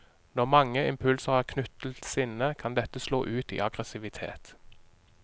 Når mange impulser er knyttet til sinne, kan dette slå ut i aggressivitet.